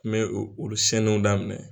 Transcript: N bɛ olu siɲɛniw daminɛ